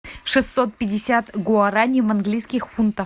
шестьсот пятьдесят гуарани в английских фунтах